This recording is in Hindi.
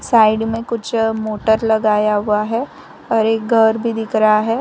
साइड में कुछ मोटर लगाया हुआ है और एक घर भी दिख रहा है।